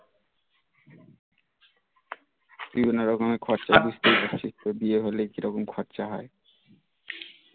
বিভিন্ন রকমের খরচা জানিস তো বিয়ে হলে কিরকম খরচা হয়